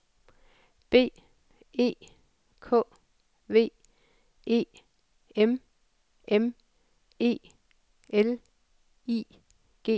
B E K V E M M E L I G T